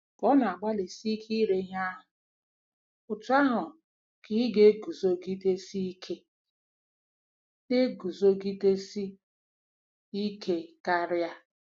Ka ọ na-agbalịsi ike ire ihe ahụ, otú ahụ ka ị na-eguzogidesi ike na-eguzogidesi ike karị.